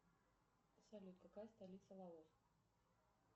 салют какая столица лаоса